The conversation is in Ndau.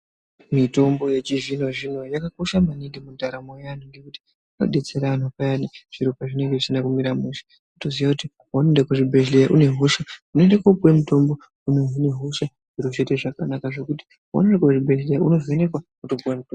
Mitombo yechizvinozvino yakakosha maningi mundaramo yeantu ngekuti inodetsera anhu payani zviro pezvinonga zvisizi kumira mushe. Kutoziya kuti peunoenda kuzvibhedhleya une hosha, unoende koopuwe mutombo unohine hosha, zviro zvoite zvakanaka zvekuti peunoende kuzvibhedhleya unovhenekwa wotopuwa mutombo.